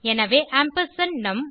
எனவே ஆம்பர்சாண்ட் நும்